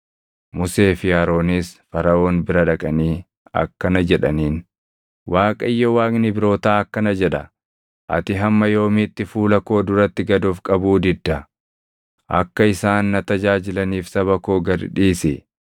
Musee fi Aroonis Faraʼoon bira dhaqanii akkana jedhaniin; “ Waaqayyo Waaqni Ibrootaa akkana jedha: ‘Ati hamma yoomiitti fuula koo duratti gad of qabuu didda? Akka isaan na tajaajilaniif saba koo gad dhiisi.